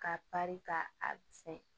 Ka bari ka a fɛ